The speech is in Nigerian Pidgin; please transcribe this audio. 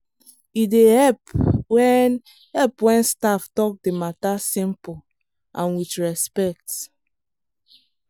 e dey help when help when staff talk the matter simple and with respect.